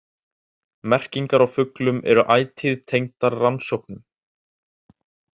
Merkingar á fuglum eru ætíð tengdar rannsóknum.